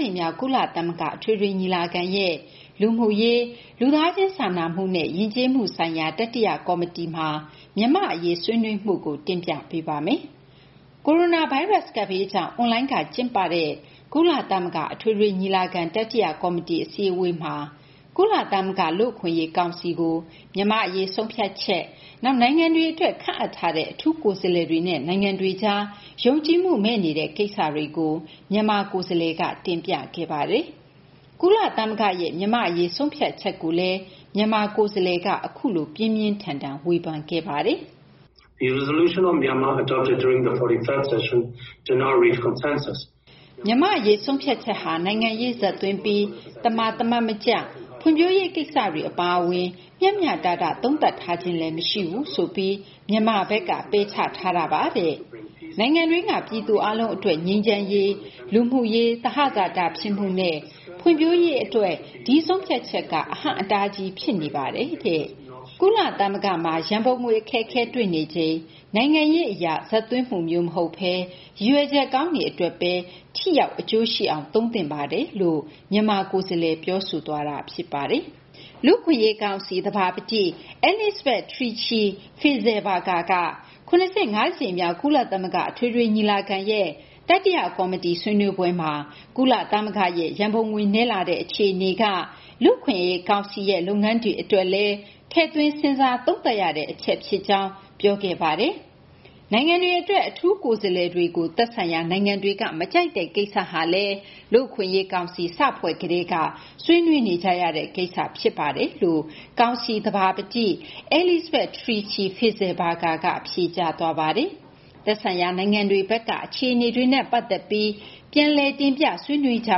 ြိမ်မြောက် ကုလသမဂ္ဂ အထွေထွေညီလာခံရဲ့ လူမှုရေး၊ လူသားချင်းစာနာမှုနဲ့ ယဉ်ကျေးမှုဆိုင်ရာ တတိယကော်မတီမှာ မြန်မာ့အရေး ဆွေးနွေးမှုကို မသိင်္ဂီထိုက် စုစည်းတင်ပြထားပါတယ်။ ကိုရိုနာဗိုင်းရပ်စ် ကပ်ဘေးကြောင့် အွန်လိုင်းကနေ ကျင်းပခဲ့တဲ့ ကုလသမဂ္ဂ အထွေထွေညီလာခံ တတိယကော်မတီ အစည်းအဝေးမှာ ကုလသမဂ္ဂ လူ့အခွင့်အရေးကောင်စီကို မြန်မာ့အရေး ဆုံးဖြတ်ချက်၊ နောက် နိုင်ငံတွေအတွက် ခန့်အပ်ထားတဲ့ အထူးကိုယ်စားလှယ်တွေနဲ့ နိုင်ငံတွေကြား ယုံကြည်မှုမဲ့နေတဲ့ ကိစ္စတွေကို မြန်မာကိုယ်စားလှယ်က တင်ပြခဲ့ပါတယ်။ ကုလသမဂ္ဂရဲ့ မြန်မာ့အရေး ဆုံးဖြတ်ချက်ကိုလည်း မြန်မာကိုယ်စားလှယ်က အခုလို ပြင်းပြင်းထန်ထန် ဝေဖန်ခဲ့ပါတယ်။ “၄၅ ကြိမ်မြောက် ညီလာခံအတွင်း ချမှတ်ခဲ့တဲ့ မြန်မာ့အရေး ဆုံးဖြတ်ချက်ဟာ နိုင်ငံရေးဇာတ်သွင်းပြီး သမာသမတ်မကျ၊ ဖွံ့ဖြိုးရေးကိစ္စတွေ အပါအဝင် မျှမျှတတ သုံးသပ်ထားခြင်းလည်း မရှိဘူးဆိုပြီး မြန်မာဘက်က ပယ်ချထားပါတယ်။ နိုင်ငံတွင်းက ပြည်သူအားလုံးအတွက် ငြိမ်းချမ်းရေး၊ လူမှုရေး သဟဇာတဖြစ်မှုနဲ့ ဖွံ့ဖြိုးရေးအတွက် ဒီဆုံးဖြတ်ချက်က အဟန့်အတားကြီး ဖြစ်နေပါတယ်။ ကုလသမဂ္ဂမှာ ရန်ပုံငွေအခက်အခဲ တွေ့နေချိန်မှာ နိုင်ငံရေးအရ ပုံသွင်းမှုမျိုး မဟုတ်ဘဲ ရည်ရွယ်ချက်ကောင်းတွေအတွက်ပဲ ထိရောက် အကျိုးရှိအောင် သုံးသင့်ပါတယ်။” လူ့အခွင့်အရေးကောင်စီ သဘာပတိ Elisabeth Tichy-Fisslbergher က ၇၅ ကြိမ်မြောက် ကုလသမဂ္ဂ အထွေထွေညီလာခံရဲ့ တတိယကော်မတီ ဆွေးနွေးပွဲမှာ ကုလသမဂ္ဂရဲ့ ရန်ပုံငွေနည်းလာတဲ့ အခြေအနေက ကုလသမဂ္ဂ လူ့အခွင့်အရေးကောင်စီရဲ့ လုပ်ငန်းတွေအတွက်လည်း ထည့်သွင်း စဉ်းစားသုံးသပ်ရတဲ့ အချက်ဖြစ်ကြောင်း ပြောခဲ့ပါတယ်။ နိုင်ငံတွေအတွက် အထူးကိုယ်စားလှယ်တွေကို သက်ဆိုင်ရာ နိုင်ငံတွေက မကြိုက်တဲ့ ကိစ္စဟာလည်း လူ့အခွင့်အရေးကောင်စီ စဖွဲ့ကတည်းက ဆွေးနွေးနေကြရတဲ့ကိစ္စ ဖြစ်ပါတယ်လို့ လူ့အခွင့်အရေးကောင်စီ သဘာပတိ Elisabeth Tichy-Fisslbergher က ဖြေကြားသွားပါတယ်။ သက်ဆိုင်ရာ နိုင်ငံတွေဘက်က အခြေအနေနဲ့ ပတ်သက်ပြီး တင်ပြဆွေးနွေးကြ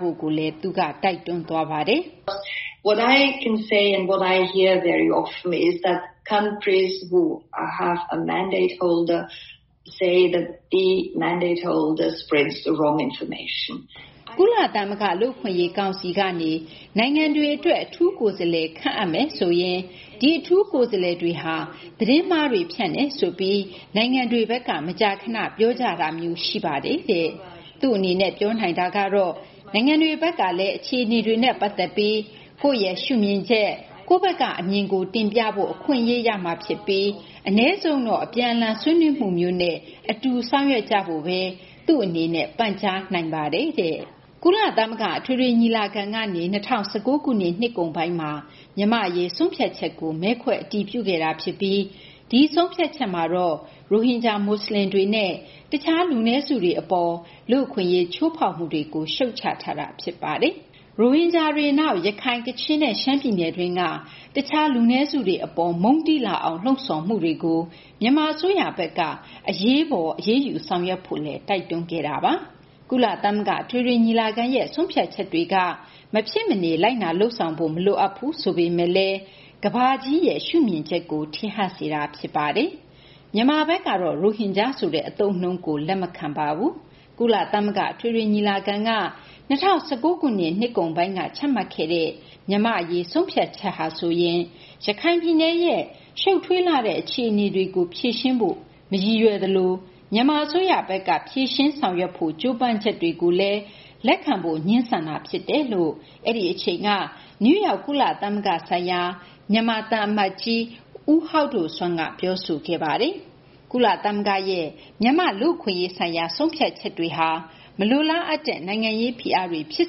ဖို့လည်း သူက တိုက်တွန်းသွားပါတယ်။ “ကုလသမဂ္ဂ လူ့အခွင့်အရေးကောင်စီကနေ နိုင်ငံတခုခုအတွက် အထူးကိုယ်စားလှယ် ခန့်အပ်မယ်ဆိုရင် ဒီအထူးကိုယ်စားလှယ်တွေဟာ သတင်းမှားတွေ ဖြန့်တယ်ဆိုပြီး နိုင်ငံတွေဘက်က မကြာခန ပြောကြတာမျိုး ရှိပါတယ်။ သူ့အနေနဲ့ ပြောနိုင်တာကတော့ နိုင်ငံတွေဘက်ကလည်း အခြေအနေတွေနဲ့ ပတ်သက်ပြီး ကိုယ့်ရဲ့ရှုမြင်ချက် ကိုယ့်ဘက်ကအမြင်ကို တင်ပြဖို့ အခွင့်အရေး ရမှာဖြစ်ပြီး အနည်းဆုံးတော့ အပြန်အလှန် ဆွေးနွေးမှုမျိုးနဲ့ အတူဆောင်ရွက်ကြဖို့ကိုပဲ သူ့အနေနဲ့ ပန်ကြားနိုင်ပါတယ်။” ကုလသမဂ္ဂ အထွေထွေညီလာခံကနေ ၂၀၁၉ ခုနှစ် နှစ်ကုန်ပိုင်းမှာ မြန်မာ့အရေး ဆုံးဖြတ်ချက်ကို မဲခွဲအတည်ပြုခဲ့တာဖြစ်ပြီး ဒီဆုံးဖြတ်ချက်မှာတော့ ရိုဟင်ဂျာ မွတ်စလင်တွေနဲ့ တခြား လူနည်းစုတွေအပေါ် လူ့အခွင့်အရေး ချိုးဖောက်မှုတွေကို ရှုတ်ချထားတာ ဖြစ်ပါတယ်။ ရိုဟင်ဂျာတွေ၊ နောက် ရခိုင်၊ ကချင်နဲ့ ရှမ်းပြည်နယ်တွင်းက တခြား လူနည်းစုတွေအပေါ် မုန်းတီးလာအောင် လှုံ့ဆော်မှုတွေကို မြန်မာအစိုးရဘက်က အရေးပေါ် အရေးယူဆောင်ရွက်ဖို့ တိုက်တွန်းထားတာပါ။ ကုလသမဂ္ဂ အထွေထွေညီလာခံရဲ့ ဆုံးဖြတ်ချက်တွေက မဖြစ်မနေ လိုက်နာလုပ်ဆောင်ဖို့ မလိုအပ်ဘူး ဆိုပေမယ့်လည်း ကမ္ဘာ့ရဲ့ ရှုမြင်ချက်ကို ထင်ဟပ်စေတာ ဖြစ်ပါတယ်။ မြန်မာဘက်ကတော့ ရိုဟင်ဂျာဆိုတဲ့ အသုံးအနှုန်းကို လက်မခံပါဘူး။ ကုလသမဂ္ဂ အထွေထွေညီလာခံက ၂၀၁၉ ခုနှစ် နှစ်ကုန်ပိုင်းမှာ ချမှတ်ခဲ့တဲ့ မြန်မာ့အရေး ဆုံးဖြတ်ချက်ဟာဆိုရင် ရခိုင်ပြည်နယ်ရဲ့ ရှုပ်ထွေးလှတဲ့ အခြေအနေတွေကို ဖြေရှင်းဖို့ မရည်ရွယ်သလို မြန်မာအစိုးရဘက်က ဖြေရှင်းဆောင်ရွက်ဖို့ ကြိုးပမ်းချက်ကိုလည်း လက်ခံဖို့ ငြင်းဆန်တာဖြစ်တယ်လို့ အဲဒီအချိန်က နယူးယောက် ကုလသမဂ္ဂဆိုင်ရာ မြန်မာသံအမတ်ကြီး ဦးဟောက်ဒိုဆွမ်းက ပြောဆိုခဲ့တာပါ။ ကုလသမဂ္ဂရဲ့ မြန်မာ့လူ့အခွင့်အရေးဆိုင်ရာ ဆုံးဖြတ်ချက်ဟာ မလိုလားအပ်တဲ့ နိုင်ငံရေးဖိအားတွေ ဖြစ်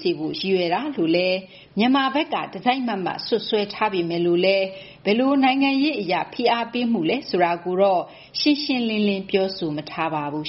စေဖို့ ရည်ရွယ်တာလို့လည်း မြန်မာဘက်က တစိုက်မတ်မတ် စွပ်စွဲထားပေမယ့် ဘယ်လို နိုင်ငံရေးအရ ဖိအားပေးမှုလဲ ဆိုတာကိုတော့ ရှင်းရှင်းလင်းလင်း ပြောဆိုမထားပါဘူး